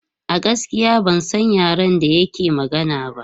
A gaskiya ban san yaren da yake magana ba.